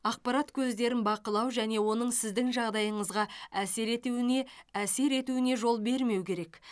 ақпарат көздерін бақылау және оның сіздің жағдайыңызға әсер етуіне әсер етуіне жол бермеу керек